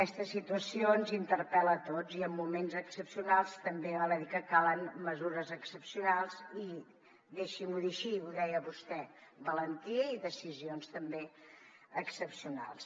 aquesta situació ens interpel·la a tots i en moments excepcionals també val a dir que calen mesures excepcionals i deixi m’ho dir així ho deia vostè valentia i decisions també excepcionals